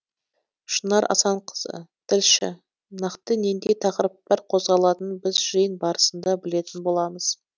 шынар асанқызы тілші нақты нендей тақырыптар қозғалатынын біз жиын барысында білетін боламыз